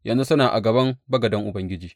Yanzu suna a gaban bagaden Ubangiji.